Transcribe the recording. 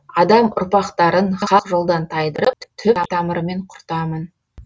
адам ұрпақтарын хақ жолдан тайдырып түп тамырымен құртамын